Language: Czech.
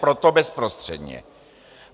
Proto bezprostředně.